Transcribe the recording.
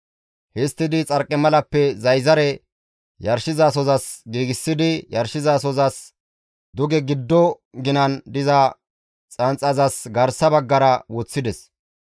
Histtidi xarqimalappe zayzare yarshizasozas giigsidi yarshizasozas duge giddo ginan diza xanxazas garsa baggara woththides.